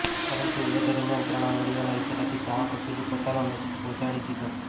પરંતુ એ દરમિયાન ત્રણ આંગળીઓના ઇશારાથી ચાહકો સુધી પોતાનો મેસેજ પહોંચાડી દીધો